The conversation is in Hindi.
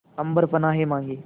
अम्बर पनाहे मांगे